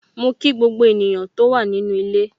Mo kí gbogbo ènìyàn tó wà nínu ilé.